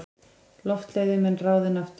Loftleiðum en ráðinn aftur.